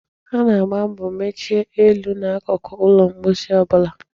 A na-agba mbo mechie elu na akụkụ ụlọ mposi ọ bụla.